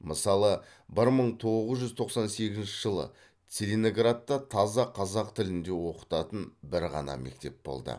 мысалы бір мың тоғыз жүз тоқсан сегізінші жылы целиноградта таза қазақ тілінде оқытатын бір ғана мектеп болды